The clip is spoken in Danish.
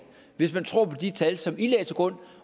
hvis man tror på de tal som i lagde til grund